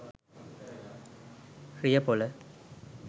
riyapola